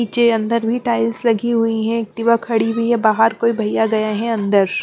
नीचे अंदर भी टाइल्स लगी हुई है एक्टिवा खड़ी हुई है बाहर कोई भइया गए है अंदर --